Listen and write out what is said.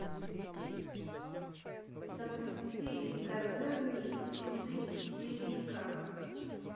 запусти козырные тузы четыре к